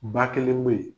Ba kelen me yen